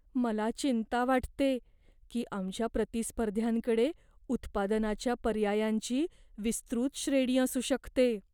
मला चिंता वाटते की आमच्या प्रतिस्पर्ध्यांकडे उत्पादनाच्या पर्यायांची विस्तृत श्रेणी असू शकते.